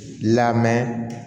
Lamɛn